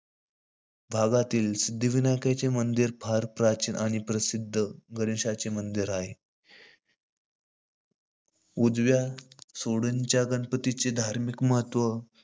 भागातील सिध्दीविनायकाचे मंदिर फार प्राचीन आणि प्रसिध्द असे गणेशाचे मंदिर आहे. उजव्या सोंडेच्या गणपतीचे धार्मीक महत्व,